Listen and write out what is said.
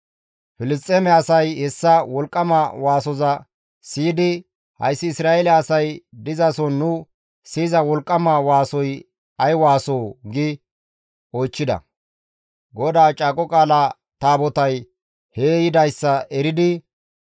Filisxeeme asay hessa wolqqama waasoza siyidi, «Hayssi Isra7eele asay dizason nu siyiza wolqqama waasoy ay waasoo?» gi oychchida; GODAA Caaqo Qaala Taabotay hee yidayssa eridi,